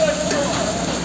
Burda bu tərəfdə qaldır.